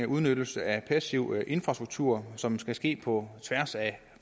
udnyttelse af passiv infrastruktur som skal ske på tværs af